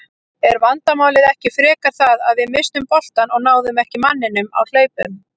Er vandamálið ekki frekar það að við misstum boltann og náðum ekki manninum á hlaupum?